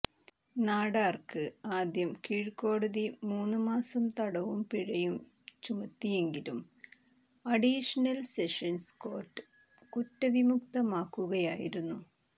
നാടാർക്ക് ആദ്യം കീഴ്ക്കോടതി മൂന്നുമാസം തടവും പിഴയും ചുമത്തിയെങ്കിലും അഡീഷണൽ സെഷൻസ് കോർട്ട് കുറ്റവിമുക്തമാക്കുകയായിരുന്നു